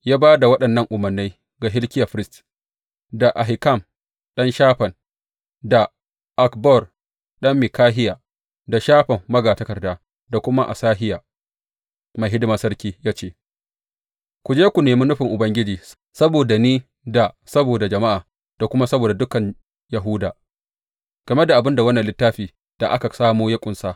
Ya ba da waɗannan umarnai ga Hilkiya firist, da Ahikam ɗan Shafan, da Akbor ɗan Mikahiya, da Shafan magatakarda, da kuma Asahiya mai hidimar sarki, ya ce, Ku je, ku nemi nufin Ubangiji saboda ni da saboda jama’a da kuma saboda dukan Yahuda game da abin da wannan littafi da aka samo ya ƙunsa.